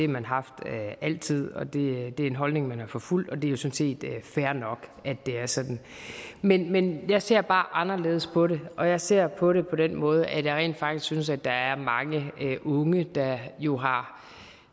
man haft altid og det er en holdning man har forfulgt og det er set fair nok at det er sådan men men jeg ser bare anderledes på det og jeg ser på det på den måde at jeg rent faktisk synes at der er mange unge der jo har